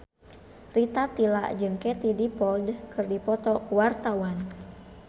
Rita Tila jeung Katie Dippold keur dipoto ku wartawan